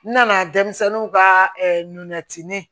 N nana denmisɛnninw ka nɛgɛ tin